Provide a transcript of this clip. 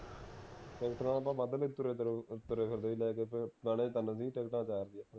ticket ਨਾਲ ਆਪਾਂ ਵਧ ਤੁਰੇ ਫਿਰਦੇ ਸੀ ਲੈ ਕੇ ਤੇ ਜਾਣੇ ਤਿੰਨ ਟਿਕਟਾਂ ਚਾਰ ਸੀ ਓਥੇ